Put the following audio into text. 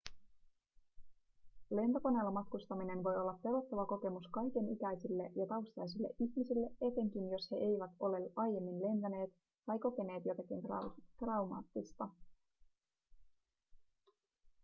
lentokoneella matkustaminen voi olla pelottava kokemus kaikenikäisille ja taustaisille ihmisille etenkin jos he eivät ole aiemmin lentäneet tai kokeneet jotakin traumaattista